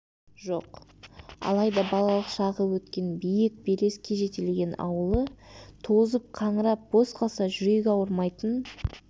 жоқ алайда балалық шағы өткен биік белеске жетелеген ауылы тозып қаңырап бос қалса жүрегі ауырмайтын